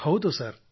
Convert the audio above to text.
ಹೌದು ಸರ್